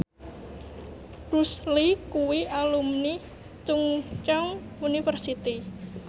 Bruce Lee kuwi alumni Chungceong University